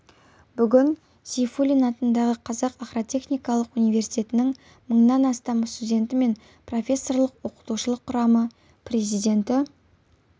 бүгін сейфуллин атындағы қазақ агротехникалық университетінің мыңнан астам студенті мен профессорлық-оқытушылық құрамы президенті